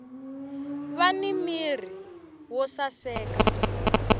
vani mirhi yo saseka